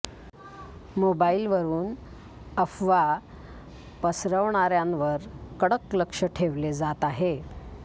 मोबाईलवरून अफवा पसरवणाऱ्यांवर कडक लक्ष ठेवले जात आहे